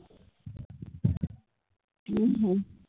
ਹਮ